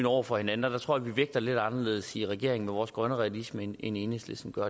over for hinanden og der tror jeg at vi vægter lidt anderledes i regeringen med vores grønne realisme end enhedslisten gør